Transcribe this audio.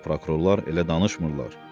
Prokurorlar elə danışmırlar.